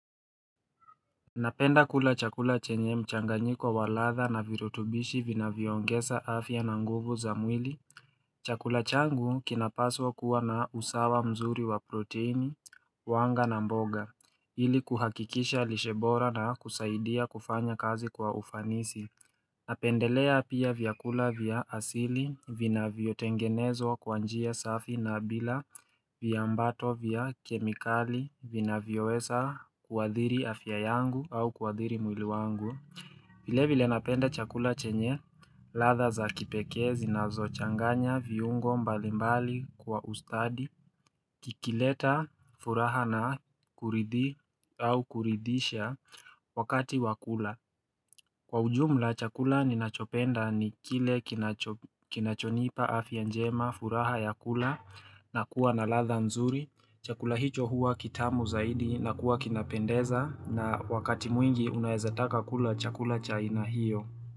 Napenda kula chakula chenye mchanganyiko wa ladha na virutubishi vinavyoongesa afya na nguvu za mwili. Chakula changu kinapaswa kuwa na usawa mzuri wa proteini, wanga na mboga, ili kuhakikisha lishe bora na kusaidia kufanya kazi kwa ufanisi. Napendelea pia vyakula vya asili vinavyotengenezwa kwa njia safi na bila vyambato vya kemikali vinavyowesa kuadhiri afya yangu au kuadhiri mwili wangu vile vile napenda chakula chenye ladha za kipekezi na zochanganya viungo mbalimbali kwa ustadi kikileta furaha na kuridi au kuridhisha wakati wa kula Kwa ujumula chakula ninachopenda ni kile kinachonipa afya njema furaha ya kula na kuwa na ladha mzuri. Chakula hicho huwa kitamu zaidi na kuwa kinapendeza na wakati mwingi unaezataka kula chakula cha aina hiyo.